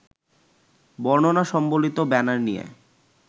বর্ণনা সম্বলিত ব্যানার নিয়ে